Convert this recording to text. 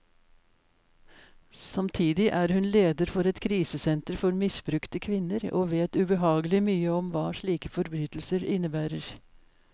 Samtidig er hun leder for et krisesenter for misbrukte kvinner, og vet ubehagelig mye om hva slike forbrytelser innebærer.